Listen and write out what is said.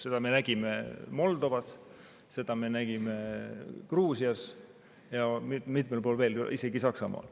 Seda me nägime Moldovas, seda me nägime Gruusias ja mitmel pool veel, isegi Saksamaal.